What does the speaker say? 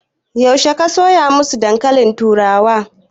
Yaushe ka soya masu dankalin turawa?